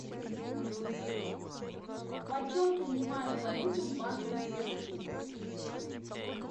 почем принимают валюту в банке возрождение